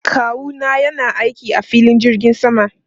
Kawu na yana aiki a filin jirgin sama.